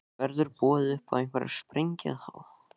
Verður boðið upp á einhverja sprengju þá?